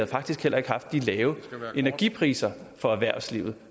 faktisk heller ikke haft de lave energipriser for erhvervslivet